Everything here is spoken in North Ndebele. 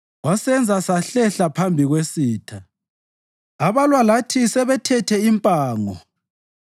Wasenza sahlehla phambi kwesitha, abalwa lathi sebethethe impango.